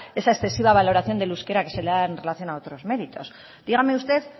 esa excesiva valoración del euskera que se le da en relación a otros méritos dígame usted